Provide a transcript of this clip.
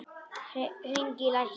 Hringi í lækni.